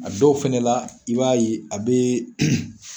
A dɔw fɛnɛ la i b'a ye a be